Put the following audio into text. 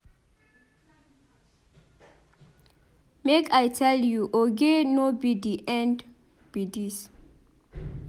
Make I tell you Oge no be the end be dis.